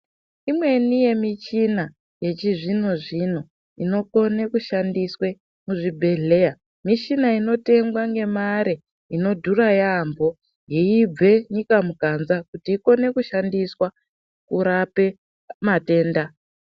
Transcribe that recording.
Imweni yemichina yechizvino-zvino inokone kushandiswe kuzvibhedhleya, mishina inotengwa ngemare inodhura yaambo yeibve munyika muganga ichikone kushandiswa kurape matenda.